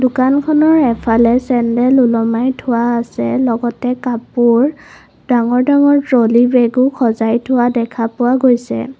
দোকানখনৰ এফালে চেণ্ডেল ওলোমায় থোৱা আছে লগতে কাপোৰ ডাঙৰ ডাঙৰ ট্ৰলি বেগো সজাই থোৱা দেখা পোৱা গৈছে।